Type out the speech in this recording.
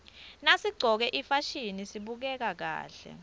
nasiqcoke ifasihni sibukeka kahle